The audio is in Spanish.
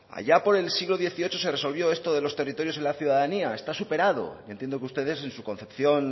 allá por el siglo dieciocho se resolvió esto de los territorios y la ciudadanía está superado entiendo que ustedes en su concepción